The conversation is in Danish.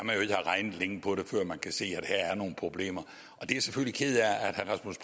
have regnet længe på det før man kan se at her er der nogle problemer